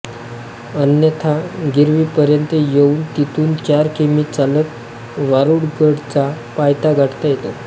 अन्यथा गिरवी पर्यंत येऊन तेथून चार कि मी चालत वारूगडाचा पायथा गाठता येतो